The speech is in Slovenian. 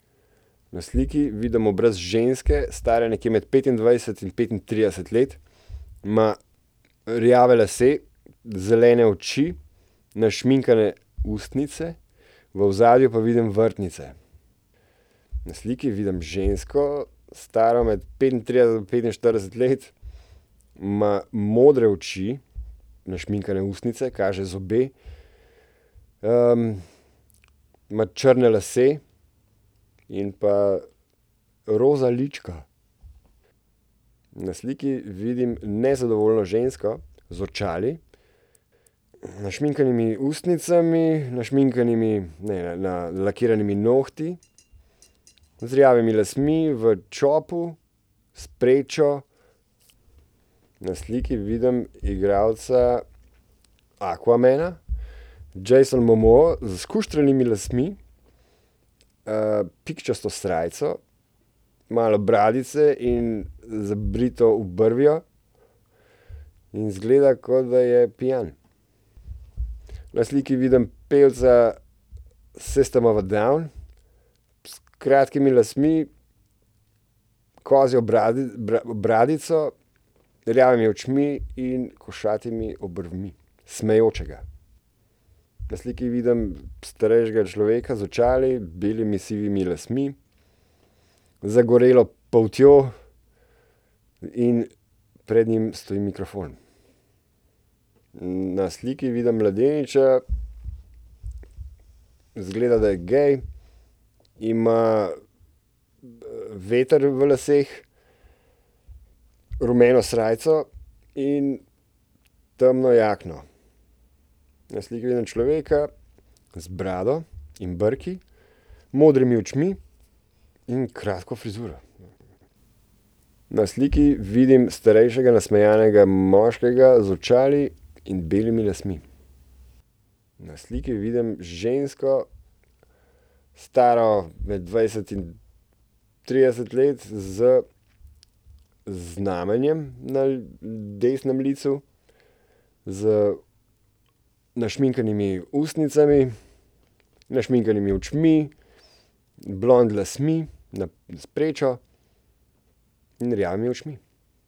Na sliki vidim obraz ženske, stare nekje med petindvajset in petintrideset let. Ima rjave lase, zelene oči, našminkane ustnice, v ozadju pa vidim vrtnice. Na sliki vidim žensko, staro med petintrideset do petinštirideset let. Ima modre oči, našminkane ustnice, kaže zobe. ima črne lase in pa roza lička. Na sliki vidim nezadovoljno žensko z očali, našminkanimi ustnicami, našminkanimi, ne, nalakiranimi nohti, z rjavimi lasmi v čopu, s prečo. Na sliki vidim igralca Aquamana, Jason Momoa, s skuštranimi lasmi, pikčasto srajco, malo bradice in zabrito obrvjo. In izgleda, kot da je pijan. Na sliki vidim pevca Sistem of a down s kratkimi lasmi, kozjo bradico, rjavimi očmi in košatimi obrvmi. Smejočega. Na sliki vidim starejšega človeka z očali, belimi, sivimi lasmi, zagorelo poltjo in pred njim stoji mikrofon. Na sliki vidim mladeniča. Izgleda, da je gej. Ima, veter v laseh, rumeno srajco in temno jakno. Na sliki vidim človeka z brado in brki, modrimi očmi in kratko frizuro. Na sliki vidim starejšega, nasmejanega moškega z očali in belimi lasmi. Na sliki vidim žensko, staro med dvajset in trideset let z znamenjem na desnem licu, z našminkanimi ustnicami, našminkanimi očmi, blond lasmi, na s prečo in rjavimi očmi.